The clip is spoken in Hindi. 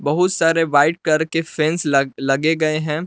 बहुत सारे वाइट कलर के फेंस लग लगे गए हैं।